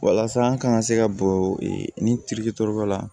Walasa an kana se ka bɔ ni dɔ la